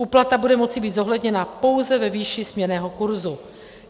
Úplata bude moci být zohledněna pouze ve výši směnného kurzu.